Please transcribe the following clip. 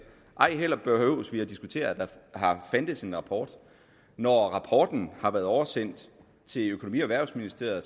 ej heller behøver vi at diskutere at der har fandtes en rapport når rapporten har været oversendt til økonomi og erhvervsministeriet